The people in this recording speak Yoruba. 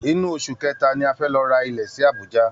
Inú oṣù kẹta ni a fẹ́ lọ ra ilẹ̀ sí Abuja